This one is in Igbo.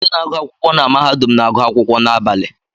Ndị na-agụ akwụkwọ na mahadum na-agụ akwụkwọ n'abalị